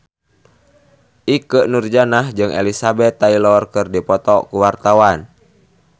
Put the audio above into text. Ikke Nurjanah jeung Elizabeth Taylor keur dipoto ku wartawan